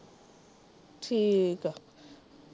ਠੀਕ ਆ।